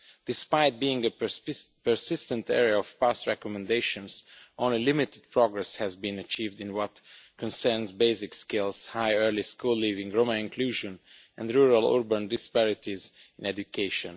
Despite being a persistent area of past recommendations, only limited progress has been achieved in what concerns basic skills, high early school leaving, Roma inclusion and rural-urban disparities in education.